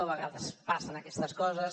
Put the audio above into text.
a vegades passen aquestes coses